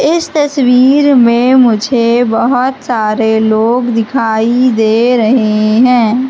इस तस्वीर में मुझे बहोत सारे लोग दिखाई दे रहे हैं।